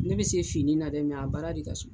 Ne be se finni na dɛ a baara de ka suma.